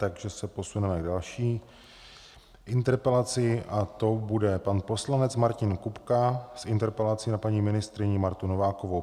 Takže se posuneme k další interpelaci a tou bude pan poslanec Martin Kupka s interpelací na paní ministryni Martu Novákovou.